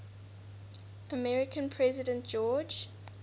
american president george